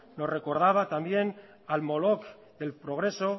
nos recordaba también al moloc del progreso